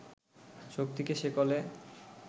শক্তিকে শেকলে